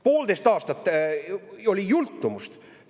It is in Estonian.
Poolteist aastat!